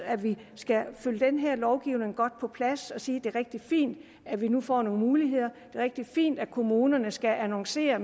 vi skal følge den her lovgivning godt på plads og sige at det er rigtig fint at vi nu får nogle muligheder er rigtig fint at kommunerne skal annoncere